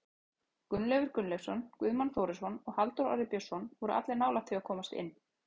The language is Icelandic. Gunnleifur Gunnleifsson, Guðmann Þórisson og Halldór Orri Björnsson voru allir nálægt því að komast inn.